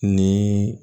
Ni